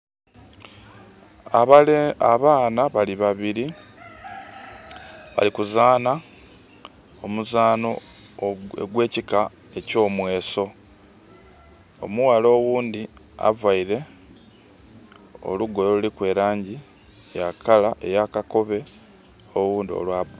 Abaana bali babiri bali kuzaanha omuzanho ogwe kika ekyo mweso. Omughala oghundi avaire olugoye oluliku elangi ya color ya kakobe owundi olwa...